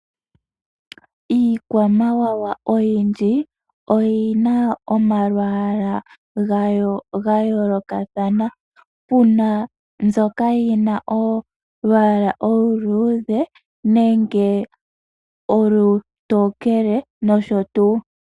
Iikwamawawa oyindji oyi na omalwaala gayo ga yoolokathana. Pu na mbyoka yi na olwaala oluluudhe nenge olutookele nosho tuu.